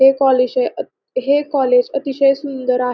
हे कॉलेश हे कॉलेज अतिशय सुंदर आहे.